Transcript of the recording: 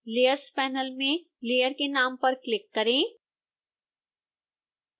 layers panel में layer के नाम पर क्लिक करें